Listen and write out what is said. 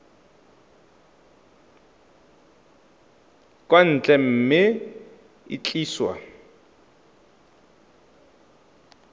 kwa ntle mme e tliswa